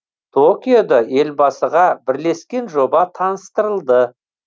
токиода елбасыға бірлескен жоба таныстырылды